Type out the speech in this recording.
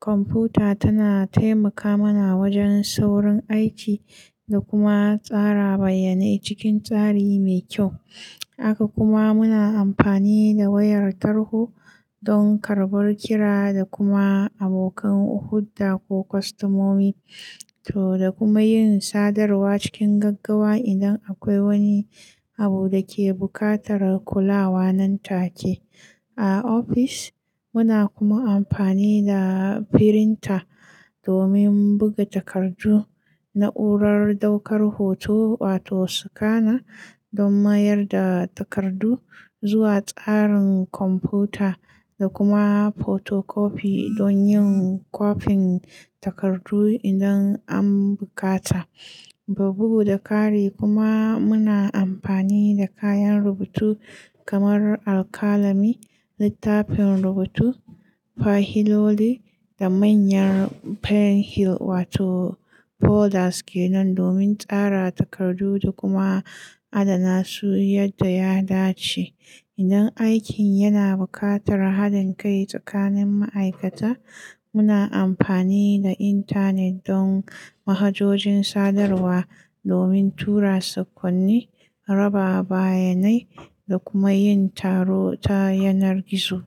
Kwamfuta tana taimaka mana wajen saurin aiki da kuma tsara bayanai cikin tsari mai kyau. Haka kuma muna amfani da wayar tarho don karɓar kira da kuma abokan hurda ko kwastamomi to da kuma yin sadarwa cikin gaggawa idan akwai wani abu da ke buƙatar kulawa nan take. A ofis muna kuma amfani da firinta domin buga takardu, na'urar daukar hoto wato scanner don mayar da takardu zuwa tsarin kwamfuta, da kuma fotokofi don yin kwafin takardu idan an bukata. Ro bugu da kari kuma muna amfani da kayan rubutu kamar alkalami, littafin rubutu, fahiloli da manyan file hill wato folders ke nan domin tsara takardu da kuma adana su yadda ya dace. Idan aikin yana buƙatar haɗin kai tsakanin ma'aikata, muna amfani da intanet don manhajojin sadarwa domin tura sakonni, raba bayanai, da kuma yin taro ta yanar gizo.